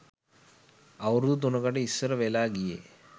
අවුරැදු තුනකට ඉස්සර වෙලා ගියේ